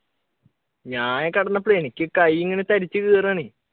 ഞാൻ ഈ കിടന്നപ്പഴേ എനിക്ക് കൈ ഇങ്ങനെ തരിച്ചു കയറുകയാണ്.